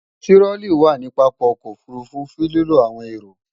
Tirolí wà ní pápá o̩kò̩ òfurufú fun lilo awon ero.